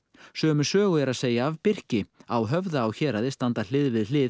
sömu sögu er að segja af birki á Höfða á Héraði standa hlið við hlið